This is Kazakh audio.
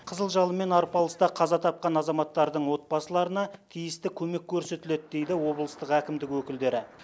қызыл жалынмен арпалыста қаза тапқан азаматтардың отбасыларына тиісті көмек көрсетіледі дейді облыстық әкімдік өкілдері